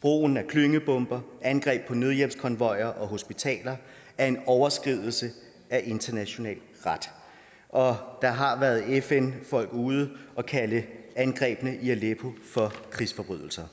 brugen af klyngebomber angreb på nødhjælpskonvojer og hospitaler er en overskridelse af international ret og der har været fn folk ude at kalde angrebene i aleppo for krigsforbrydelser